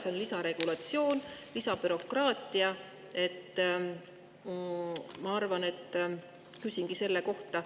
See on lisaregulatsioon, lisabürokraatia ja ma küsingi selle kohta.